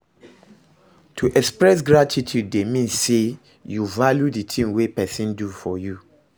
To express gratitude de mean say you value di thing wey persin do for you